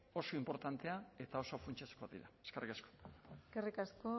oso inportanteak eta oso funtsezkoak dira eskerrik asko eskerrik asko